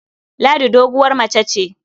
Ladi doguwar mace ce.